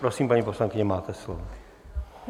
Prosím, paní poslankyně, máte slovo.